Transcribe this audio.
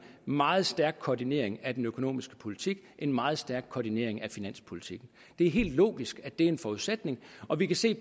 meget stærk koordinering af den økonomiske politik en meget stærk koordinering af finanspolitikken det er helt logisk at det er en forudsætning og vi kan se